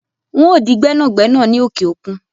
N óò di gbẹ́nàgbẹ́nà ní òkè òkun